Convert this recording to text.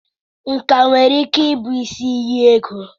Nkà nwere ike ịbụ isi iyi ego.